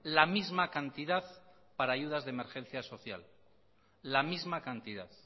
la misma cantidad para ayudas de emergencia social la misma cantidad